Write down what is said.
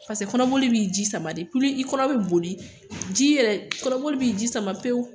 Paseke kɔnɔboli bɛi ji sama de, i kɔnɔ bɛ boli, ji yɛrɛ, kɔnɔboli bɛ ji sama pewu